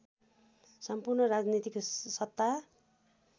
सम्पूर्ण राजनीतिक सत्ता